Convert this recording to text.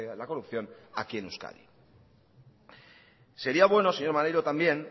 la corrupción aquí en euskadi sería bueno señor maneiro también